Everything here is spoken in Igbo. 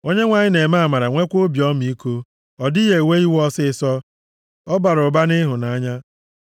Onyenwe anyị na-eme amara nweekwa obi ọmịiko, ọ dịghị ewe iwe ọsịịsọ, ọ bara ụba nʼịhụnanya.